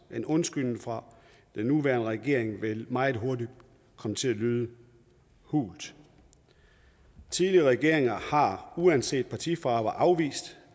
en undskyldning fra den nuværende regering vil meget hurtigt komme til at lyde hul tidligere regeringer har uanset partifarve afvist